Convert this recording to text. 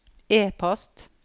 e-post